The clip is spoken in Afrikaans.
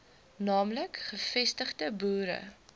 naamlik gevestigde boere